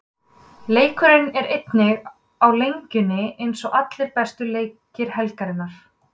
Leikurinn er einnig á Lengjunni eins og allir bestu leikir helgarinnar.